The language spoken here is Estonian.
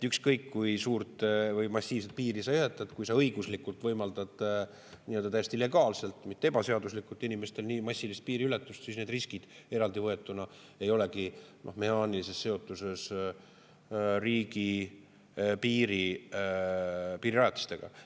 Ükskõik kui suurt või massiivset piiri sa ehitad, kui sa õiguslikult võimaldad täiesti legaalselt, mitte ebaseaduslikult, inimeste nii massilist piiriületust, siis need riskid eraldi võetuna ei olegi mehaanilises seotuses riigipiiri piirirajatistega.